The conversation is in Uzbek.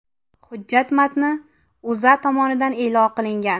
Hujjat matni O‘zA tomonidan e’lon qilingan .